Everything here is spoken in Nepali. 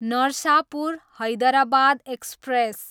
नरसापुर, हैदराबाद एक्सप्रेस